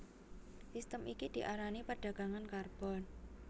Sistem iki diarani perdagangan karbon